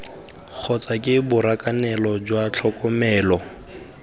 kgotsa ke borakanelo jwa tlhokomelo